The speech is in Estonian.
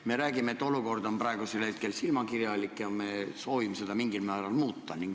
Me räägime, et olukord on praegu silmakirjalik ja me soovime seda mingil määral muuta.